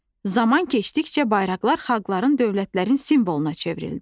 Zaman keçdikcə bayraqlar xalqların, dövlətlərin simvoluna çevrildi.